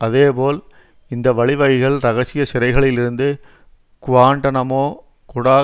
அதேபோல் இந்த வழிவகைகள் இரகசிய சிறைகளில் இருந்து குவாண்டநமோ குடா